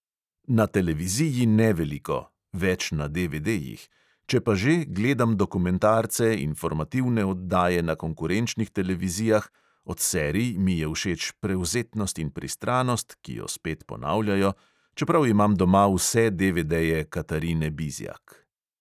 Na televiziji ne veliko (več na DVD-jih), če pa že, gledam dokumentarce, informativne oddaje na konkurenčnih televizijah, od serij mi je všeč prevzetnost in pristranost, ki jo spet ponavljajo, čeprav imam doma vse DVD-je katarine bizjak.